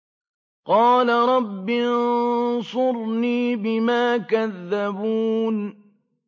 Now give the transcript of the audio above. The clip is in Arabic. قَالَ رَبِّ انصُرْنِي بِمَا كَذَّبُونِ